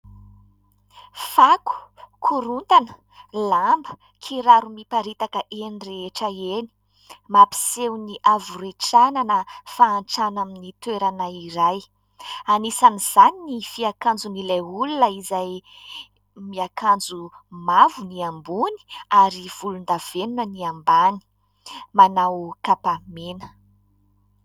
Fako, korontana, lamba, kiraro miparitaka eny rehetra eny. Mampiseho ny havoretrana na fahantrana amin'ny toerana iray ; anisan'izany ny fiakanjon'ilay olona izay miakanjo mavo ny ambony ary volondavenona ny ambany, manao kapa mena.